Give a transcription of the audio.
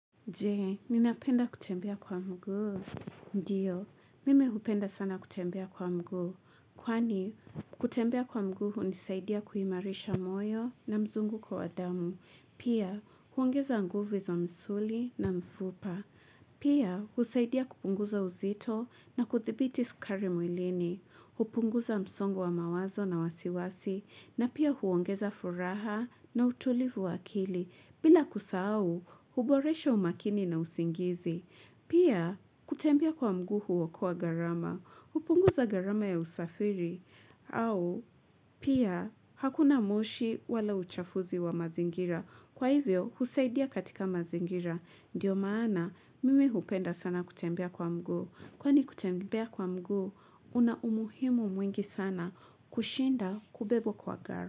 Je, ninapenda kutembea kwa mguu? Ndiyo, mimi hupenda sana kutembea kwa mguu. Kwani, kutembea kwa mguu hunisaidia kuimarisha moyo na mzunguko wa damu. Pia, huongeza nguvu za msuli na mfupa. Pia, husaidia kupunguza uzito na kuthibiti sukari mwilini. Hupunguza msongo wa mawazo na wasiwasi. Na pia huongeza furaha na utulivu wa akili. Bila kusahau, huboresha umakini na usingizi. Pia, kutembea kwa mguu huokoa gharama. Hupunguza gharama ya usafiri. Au, pia, hakuna moshi wala uchafuzi wa mazingira. Kwa hivyo, husaidia katika mazingira. Ndiyo maana, mimi hupenda sana kutembea kwa mguu. Kwani kutembea kwa mguu, una umuhimu mwingi sana kushinda kubebwa kwa gari.